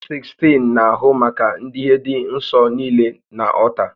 Onye sekstịn na-ahụ maka idiihe dị nsọ niile na ọlta